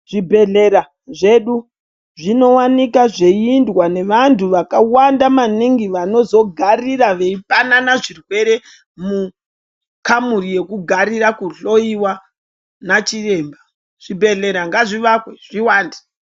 Zvibhedhlera zvedu zvinowanikwa zveindwa nevantu vakawanda maningi vanozogarira veipanana zvirwere mukamuri yekugarira kuhloiwa nachiremba, zvibhedhlera ngazviwake zviwande.